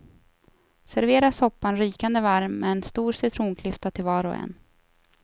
Servera soppan rykande varm med en stor citronklyfta till var och en.